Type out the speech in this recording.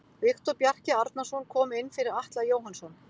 Viktor Bjarki Arnarsson kom inn fyrir Atla Jóhannsson.